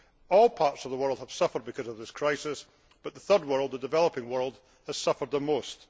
All parts of the world have suffered because of this crisis, but the third world, the developing world, has suffered the most.